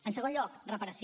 en segon lloc reparació